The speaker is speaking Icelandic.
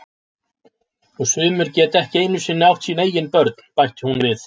Og sumir geta ekki einu sinni átt sín eigin börn, bætti hún við.